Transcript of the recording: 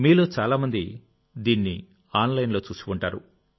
మీలో చాలామంది దీన్ని ఆన్లైన్లో చూసి ఉంటారు